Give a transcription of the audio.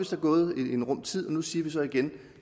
så gået en rum tid og nu siger vi så igen